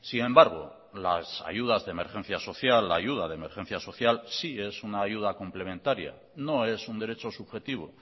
sin embargo las ayudas de emergencia social la ayuda de emergencia social sí es una ayuda complementaria no es un derecho subjetivo